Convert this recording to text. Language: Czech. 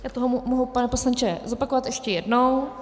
Já to mohu, pane poslanče, zopakovat ještě jednou.